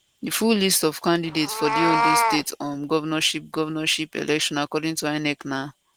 di full list of candidates for di ondo state um governorship governorship election according to inec na